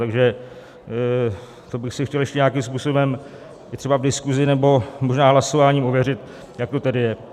Takže to bych si chtěl ještě nějakým způsobem, i třeba v diskusi nebo možná hlasováním, ověřit, jak to tedy je.